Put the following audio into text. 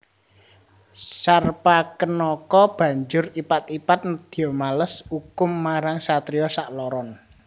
Sarpakenaka banjur ipat ipat nedya males ukum marang satriya sakloron